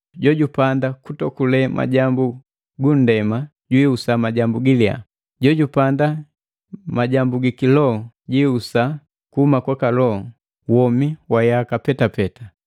Jojupanda mukutokule majambu gunndema, jihusa majambu giliya, jojupanda yiki Loho jihusa kuhuma kwaka Loho womi wa yaka petapeta.